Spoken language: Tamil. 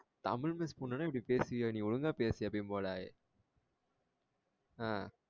தமிழ் miss பொண்ணுனா இப்டி பேசுவியா நீ ஒழுங்கா பேசு எப்பவும் போல ஆஹ்